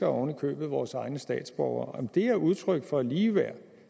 ovenikøbet vores egne statsborgere er det udtryk for ligeværd